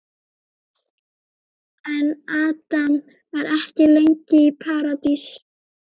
En Adam var ekki lengi í Paradís.